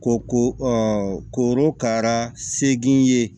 Ko ko korokara seegin ye